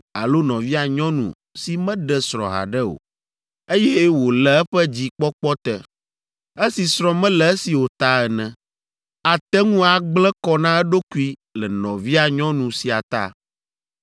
alo nɔvia nyɔnu si meɖe srɔ̃ haɖe o, eye wòle eƒe dzikpɔkpɔ te, esi srɔ̃ mele esi o ta ene. Ate ŋu agblẽ kɔ na eɖokui le nɔvia nyɔnu sia ta.